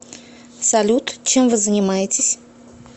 салют чем вы занимаетесь